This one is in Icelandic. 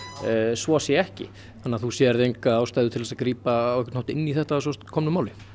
svo sé ekki þannig að þú sérð enga ástæðu til að grípa á einhvern hátt inn í þetta að svo komnu máli